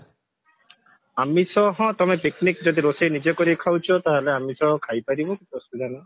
ଆମିଷ ହଁ ତମେ picnic ଯଦି ରୋଷେଇ ନିଜେ କରିକି ଖାଉଛ ତାହେଲେ ଆମିଷ ଖାଇ ପାରିବ କିଛି ଅସୁବିଧା ନାହିଁ